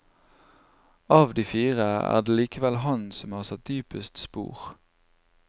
Av de fire er det likevel han som har satt dypest spor.